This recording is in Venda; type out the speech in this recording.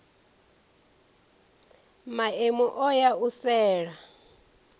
maemu o ya u sela